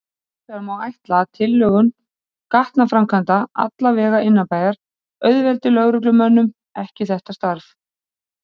Hinsvegar má ætla að tilhögun gatnaframkvæmda, alla vega innanbæjar, auðveldi lögreglumönnum ekki þetta starf.